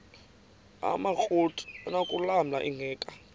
amakrot anokulamla ingeka